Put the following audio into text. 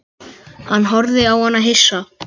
Hann horfði á hana hissa.